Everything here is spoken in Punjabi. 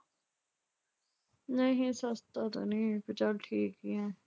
ਨਹੀਂ ਸਸਤਾ ਤਾਂ ਨਈਂ ਫਿਰ ਚੱਲ ਠੀਕ ਐ